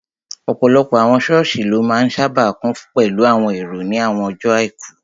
Ọ̀pọ̀lọpọ̀ àwọn sọ́ọ̀sì ló máa n sáábà kún pẹ̀lú àwọn èrò ní àwọn ọjọ́ àìkú